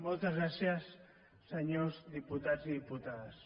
moltes gràcies senyors diputats i diputades